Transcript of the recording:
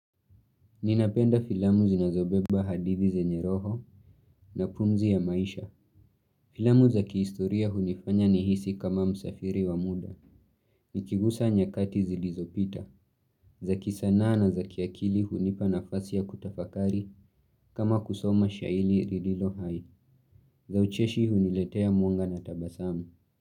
Ninapenda filamu zinazobeba hadithi zenye roho na pumzi ya maisha. Filamu za kihistoria hunifanya nihisi kama msafiri wa muda. Nikigusa nyakati zilizopita. Za kisanaa na za kiakili hunipa nafasi ya kutafakari kama kusoma shairi lililo hai. Za ucheshi huniletea mwonga na tabasamu.